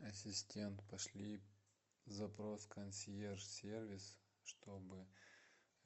ассистент пошли запрос в консьерж сервис чтобы